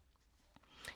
DR1